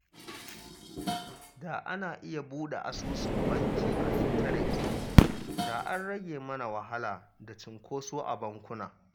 Da ana iya buɗe asusun banki ta intanet, da an rage mana wahala da cinkoso a bankuna